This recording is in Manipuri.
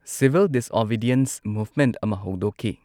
ꯁꯤꯚꯤꯜ ꯗꯤꯁꯑꯣꯕꯤꯗꯤꯌꯦꯟꯁ ꯃꯨꯚꯃꯦꯟꯠ ꯑꯃ ꯍꯧꯗꯣꯛꯈꯤ꯫